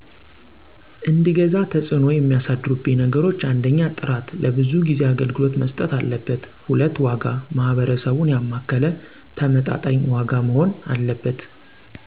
እንድገዛ ተፅእኖ የሚያሳድሩብኝ ነገሮች 1. ጥራት፦ ለብዙ ጊዜ አገልግሎት መስጠት አለበት። 2. ዋጋ፦ ማህበረሰቡን ያማከለ ተመጣጣኝ ዋጋ መሆን አለበት።